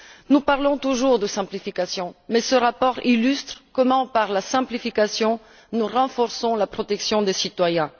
Nous parlons toujours de simplification, mais ce rapport illustre comment, par la simplification, nous renforçons la protection des citoyens.